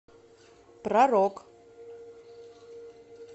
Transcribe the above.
про рок